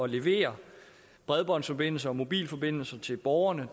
levere bredbåndsforbindelser og mobilforbindelser til borgerne